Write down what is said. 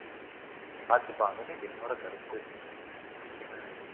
பாத்துப்பாங்கன்னு என்னோட கருத்து இது நீங்க என்ன நினைக்கறீங்க